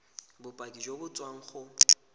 bopaki jo bo tswang go